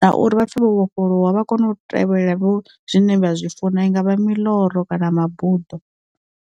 na uri vhapfe vho vhofholowa vha kone u tevhelela vho zwine vha zwi funa i ngavha miloro kana mabuḓo.